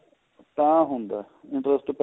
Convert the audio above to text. ਤਾਂ ਹੁੰਦਾ ਨੀਂ ਉਸ ਤੋਂ ਪਹਿਲਾਂ